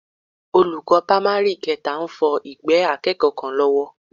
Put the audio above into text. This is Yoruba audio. Olùkọ́ pámárì kẹta ń fọ ìgbẹ́ akẹ́kọ̀ọ́ kan lọ́wọ́